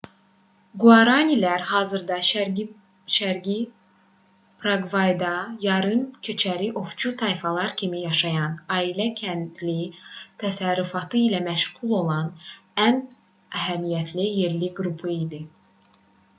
quaranilər hazırda şərqi praqvayda yarım-köçəri ovçu tayfalar kimi yaşayan ailə-kəndli təsərrüfatı ilə məşğul olan ən əhəmiyyətli yerli qrupu idi